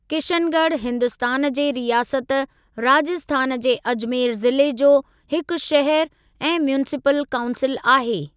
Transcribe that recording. किशनगढ़ हिन्दुस्तान जे रियासत राजस्थान जे अजमेर ज़िले जो हिकु शहरु ऐं म्यूनिसिपल काऊंसिल आहे।